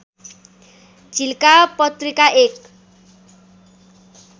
झिल्का पत्रिका एक